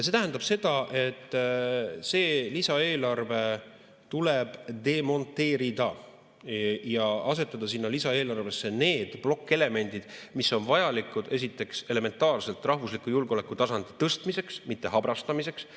See tähendab seda, et see lisaeelarve tuleb demonteerida ja asetada sinna lisaeelarvesse need plokkelemendid, mis on vajalikud elementaarselt rahvusliku julgeoleku tasandi tõstmiseks, mitte habrastamiseks.